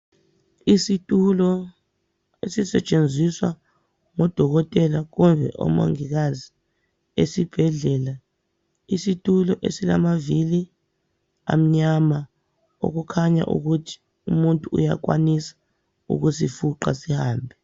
Isitulo esisetshenziswa ngodokotela kumbe omongikazi esibhedlela. Isitulo esilamavili amnyama okukhanya ukuthi umuntu uyakwanisa ukuzifuqa sihambe.